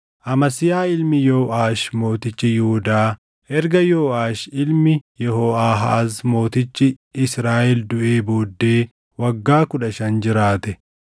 Amasiyaa ilmi Yooʼaash mootichi Yihuudaa erga Yooʼaash ilmi Yehooʼaahaaz mootichi Israaʼel duʼee booddee waggaa kudha shan jiraate.